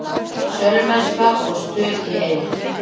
Sölumennska og stuð í Eyjum